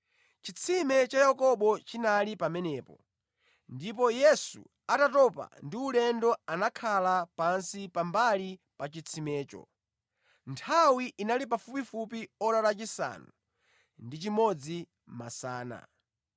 Chitsime cha Yakobo chinali pamenepo ndipo Yesu atatopa ndi ulendo anakhala pansi pambali pa chitsimecho. Nthawi inali pafupifupi ora lachisanu ndi chimodzi masana.